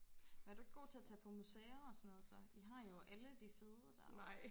hvad er du ikke god til at tage på museer og sådan noget så I har jo alle de fede der